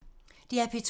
DR P2